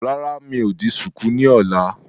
Rárá, mi ò di ṣùkú ni ọ̀la.